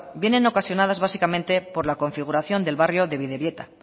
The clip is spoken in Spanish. vienen ocasionadas básicamente por la configuración del barrio de bidebieta